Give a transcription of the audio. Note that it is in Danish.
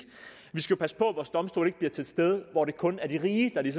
vi skal jo passe på at vores domstole ikke bliver til et sted hvor det kun er de rige der